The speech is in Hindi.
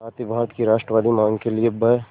साथ ही भारत की राष्ट्रवादी मांग के लिए ब्